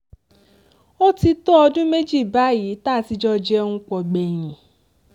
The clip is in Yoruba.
ó ti tó ọdún méjì báyìí tá a ti jọ jẹun pọ̀ gbẹ̀yìn